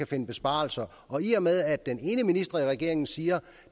finde besparelser og i og med at den ene minister i regeringen siger